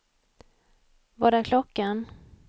Vad är klockan